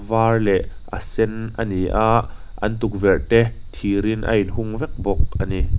var leh a sen a ni a an tukverh te thirin a inhung vek bawk a ni.